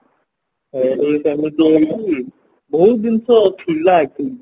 ସେମିତି ହେଇକି ବହୁତ ଜିନିଷ ଥିଲା actually